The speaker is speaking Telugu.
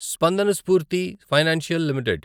Spandana Sphoorty financial limited